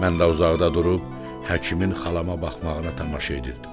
Mən də uzaqda durub həkimin xalama baxmağına tamaşa edirdim.